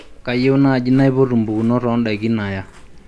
kayieu naaji naipotu empukunot oo indaki naya